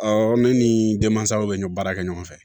ne ni denmansaw bɛ ɲɔ baara kɛ ɲɔgɔn fɛ